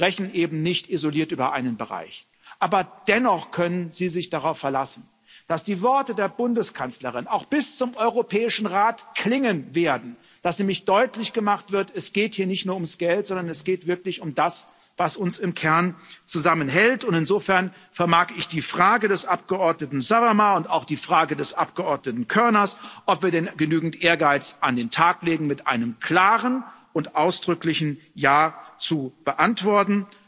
Wir sprechen eben nicht isoliert über einen Bereich, aber dennoch können Sie sich darauf verlassen, dass die Worte der Bundeskanzlerin auch bis zum Europäischen Rat klingen werden, dass nämlich deutlich gemacht wird Es geht hier nicht nur ums Geld, sondern es geht wirklich um das, was uns im Kern zusammenhält, und insofern vermag ich die Frage des Abgeordneten Sarvamaa und auch die Frage des Abgeordneten Körner, ob wir denn genügend Ehrgeiz an den Tag legen, mit einem klaren und ausdrücklichen Ja zu beantworten.